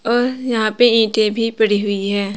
और यहां पे ईंटे भी पड़ी हुई हैं।